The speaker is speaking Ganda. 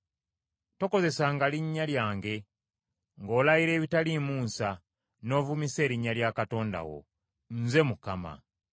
“Tokozesanga linnya lyange ng’olayira ebitaliimu nsa, n’ovumisa erinnya lya Katonda wo. Nze Mukama .